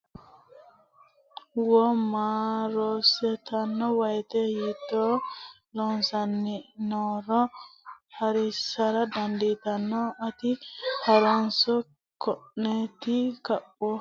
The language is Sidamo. wo ma rosiisatto woyite hiitto loossanni nooro horonsi ra dandaatto a ti ha runs keenoti xaphoomu tekinike konni woroonni nooreeti Suwashshiweelo Laishsha Rosiisaano Loonsemmo yannara rosaanote mereero millisanni roorenkanni Loossinanni yitanno.